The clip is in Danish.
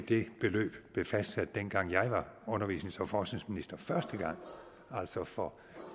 det beløb blev fastsat dengang jeg var undervisnings og forskningsminister første gang altså for